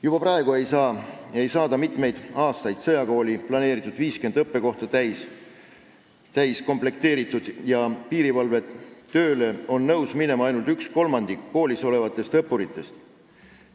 Juba mitmeid aastaid ei ole saadud sõjakooli planeeritud 50 õppekohta komplekteeritud ja piirivalvetööle on nõus minema ainult kolmandik õppuritest.